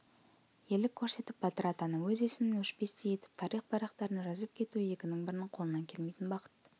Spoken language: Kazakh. ерлік көрсетіп батыр атану өз есімін өшпестей етіп тарих парақтарына жазып кету екінің бірінің қолынан келмейтін бақыт